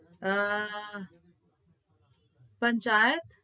અમ પંચાયત